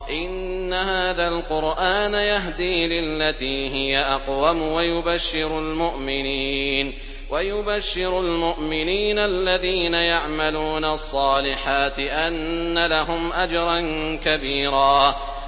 إِنَّ هَٰذَا الْقُرْآنَ يَهْدِي لِلَّتِي هِيَ أَقْوَمُ وَيُبَشِّرُ الْمُؤْمِنِينَ الَّذِينَ يَعْمَلُونَ الصَّالِحَاتِ أَنَّ لَهُمْ أَجْرًا كَبِيرًا